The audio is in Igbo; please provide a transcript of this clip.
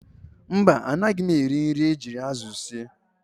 Mba, anaghị m eri nri e ji azụ sie